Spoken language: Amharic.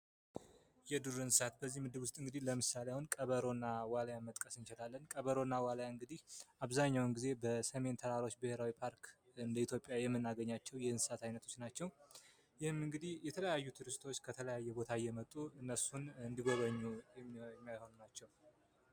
የዱር እንሰሳት በዚህ ምድብ ውስጥ እንግዲህ ለምሳሌ አሁን ቀበሮና ዋልያ መጥቀስ እንችላለን ቀበሮና እንግዲህ አብዛኛውን ጊዜ በሰሜን ተራሮች ብሔራዊ ፓርክ የመናቸው የእንስሳት አይነቶች ናቸው እነሱን እንዲጎበኞ ናቸው።